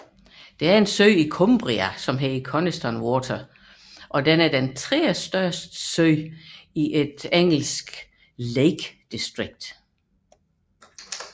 Coniston Water er sø i Cumbria og den tredjestørste sø i det engelske Lake District